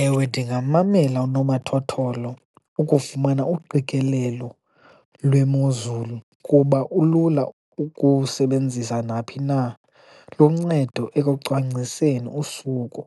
Ewe, ndingammamela unomathotholo ukufumana uqikelelo lwemozulu kuba ulula ukuwusebenzisa naphi na, luncedo ekucwangciseni usuku,